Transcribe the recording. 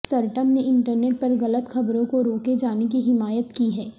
سر Tim نے internet پر غلط خبروں کو روکے جانے کی حمایت کی ہے